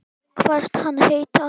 Kvaðst hann heita